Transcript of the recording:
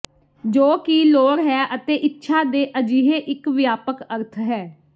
ਜੋ ਕਿ ਲੋੜ ਹੈ ਅਤੇ ਇੱਛਾ ਦੇ ਅਜਿਹੇ ਇੱਕ ਵਿਆਪਕ ਅਰਥ ਹੈ